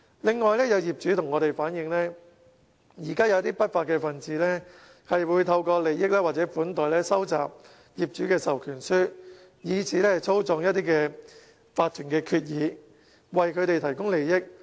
此外，有業主向我們反映，現時有一些不法分子透過利益或款待收集業主的授權書，以此操縱法團決議，為他們提供利益。